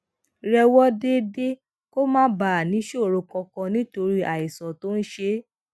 rè wò déédéé kó má bàa níṣòro kankan nítorí àìsàn tó ń ṣe é